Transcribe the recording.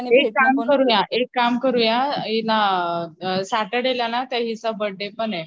एक काम करूया सॅटरडे ला ना त्या ही चा बर्थडे पने